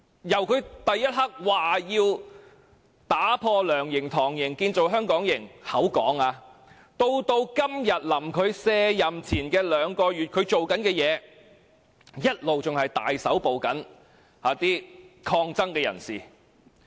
由他當選後立刻表示要打破"梁營"、"唐營"，建造"香港營"——他只是說——到今日卸任前兩個月，他正在做的事情，一直是大規模搜捕抗爭人士。